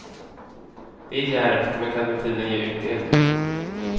Det är djärvt men kan med tiden ge utdelning.